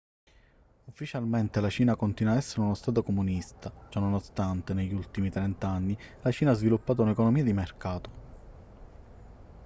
ufficialmente la cina continua a essere uno stato comunista ciononostante negli ultimi trent'anni la cina ha sviluppato un'economia di mercato